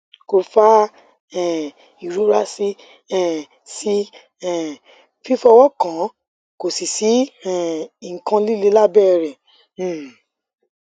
ko fa um irora si um si um fifowokan ko si si um ikan lile labere